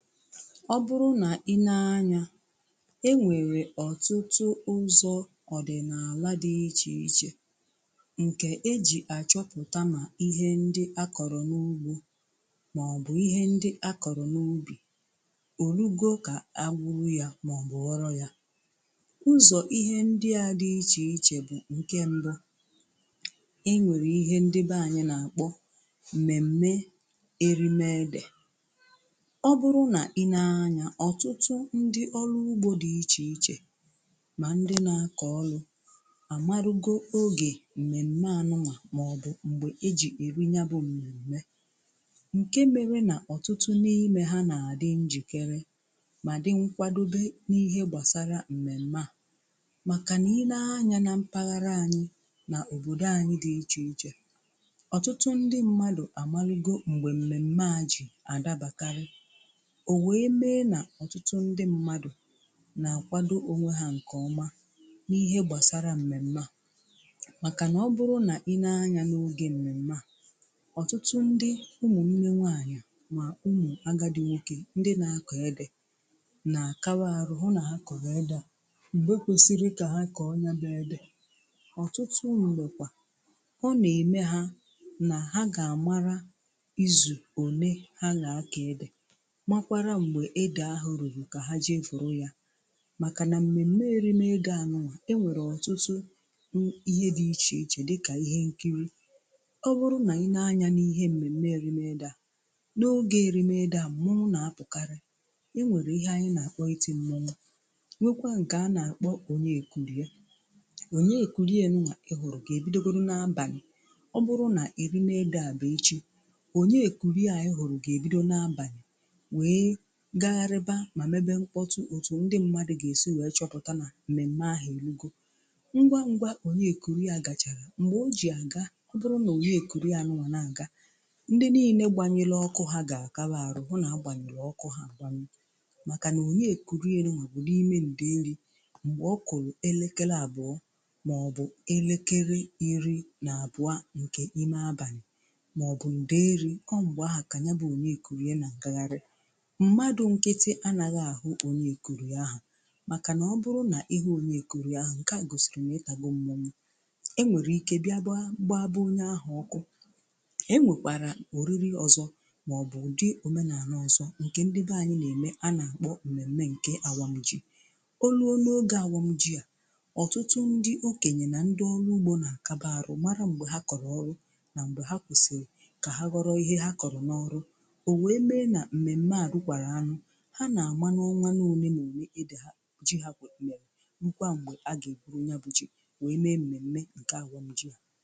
Ọ bụrụ na i nee anya, e nwere ọtụtụ ọdịnala dị iche iche nke eji achọpụta ma ihe ndị akọrọ n'ugbo maọbụ ihe ndị akọrọ n'ubi o rugo ka a gburu ya maọbụ ghọrọ ya. Ụzọ ihe ndị a dị iche iche bụ nke mbụ; e nwere ihe ndị be anyị na-akpọ mmemme erime ede Ọ bụrụ na i nee anya ọtụtụ ndị ọrụ ugbo dị iche iche ma ndị na-akọ ọrụ amarụgo oge mmemme a nụñwa maọbụ mgbe eji eri ya bụ mmemme nke mere na ọtụtụ n'ime ha na-adị njikere ma dị nkwadobe n'ihe gbasara mmemme a, makana i nee anya na mpaghara anyị na obodo anyị dị iche iche, ọtụtụ ndị mmadụ amarụgo mgbe mmemme a ji adabakarị, ọ nwee mee na ọtụtụ ndị mmadụ na-àkwádó onwe ha nke ọma n'ihe gbasara mmemme a makana ọ bụrụ na i nee anya n'oge mmemme a ọtụtụ ndị ụmụnne nwaanyị ma ụmụ agadi nwoke ndị na-akọ ede na akabaarụ hụ na ha kọrọ ede a mgbe kwesịrị ka ha kọọ ya bụ ede. Ọtụtụ mgbe kwa ọ na-eme ha na ha ga-amara izu one ha ga akọ ede makwara mgbe ede ahụ ruru ka ha jee vụrụ ya maka na mmemme erime ede a nụñwa e nwere ọtụtụ um ihe dị iche iche dịka ihe nkiri. Ọ bụrụ na i nee anya n'ihe mmemme erime ede a n'oge erime ede a, mmọnwụ na-apụkarị. E nwere ihe anyị na-akpọ iti mmọnwụ nweekwa nke a na-akpọ Onyekurie. Onyekurie nụñwa ị hụrụ ga-ebidogodu n'abanị ọ bụrụ na erime ede a bụ echi, Onyekurie ị hụrụ ga-ebido n'abanị wee gagharịba ma mmebe mkpọtụ otu ndị mmadụ ga-esi wee chọpụta na mmemme ahụ erugo. Ngwangwa Onyekurie gachara, mgbe o ji aga ọ bụrụ na Onyekurie nụñwa na-aga, ndị niile gbanyere ọkụ ha ga akabaarụ hụ na agbanyụrụ ọkụ ha agbanyụ makana Onyekurie nụñwa bụ n'ime ndeeri mgbe ọ kụrụ elekere abụọ maọbụ elekere iri na abụọ nke ime abanị maọbụ ndeeri ọ mgbe ahụ ka ya bụ Onyekurie na-agagharị. Mmadụ nkịtị anaghị ahụ Onyekurie ahụ makana ọ bụrụ na ịhụ Onyekurie ahụ nke a gosiri na idago mmọnwụ, enwere ike bịagba gbaa be onye ahụ ọkụ. E nwekwara oriri ọzọ maọbụ ụdị omenaala ọzọ nke ndị be anyị na-eme a na-akpọ mmemme nke awam ji. O ruo n'oge awam ji a ọtụtụ ndị okenye na ndị ọrụ ugbo na akabaarụ mara mgbe ha kọrọ ọrụ ma mgbe ha kwesịrị ka ha ghọrọ ihe ha kọrọ n'ọrụ. O wee mee na mmemme a rukwaraa nụ, ha na-ama n'ọnwa na ole na ole ede ha, ji ha mere rukwa mgbe ha ga-eburu ya bụ ji wee mee mmemme nke awam ji a.